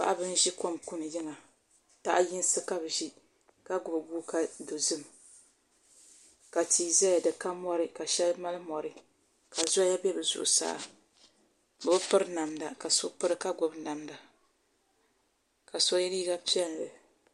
Paɣaba n ʒi kom kuni yiŋa taha yinsi ka bi ʒi ka gbubi guuka dozim ka tii ʒɛya di ka mori ka shɛli mali mori ka zoya bɛ bi zuɣusaa o bi piri namda ka so piri ka gbubi namda ka so yɛ liiga piɛlli